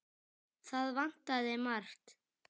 Það vantaði margt.